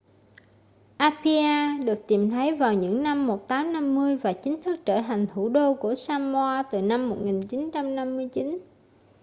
apia được tìm thấy vào những năm 1850 và chính thức trở thành thủ đô của samoa từ năm 1959